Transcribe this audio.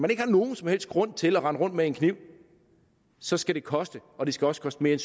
ikke har nogen som helst grund til at rende rundt med en kniv så skal koste og det skal også koste mere